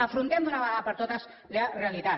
afrontem d’una vegada per totes la realitat